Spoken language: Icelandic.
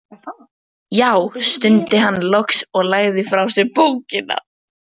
Já, stundi hann loks og lagði bókina frá sér.